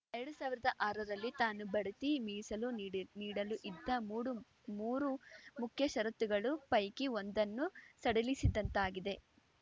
ಎರಡ್ ಸಾವಿರದ ಆರರಲ್ಲಿ ತಾನು ಬಡ್ತಿ ಮೀಸಲು ನೀಡ್ ನೀಡಲು ಇದ್ದ ಮೂಡು ಮೂರು ಮುಖ್ಯ ಷರತ್ತುಗಳು ಪೈಕಿ ಒಂದನ್ನು ಸಡಿಲಿಸಿದಂತಾಗಿದೆ